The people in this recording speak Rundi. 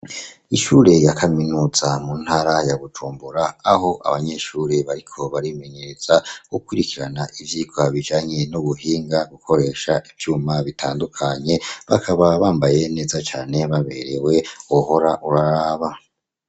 Ishure ya Kaminuza mu ntara ya gucumbura aho abanyeshure bariko barimenyereza gukirikirana ibyika bijanye n'ubuhinga gukoresha ibyuma bitandukanye bakaba bambaye neza cyane baberewe uhora uraraba.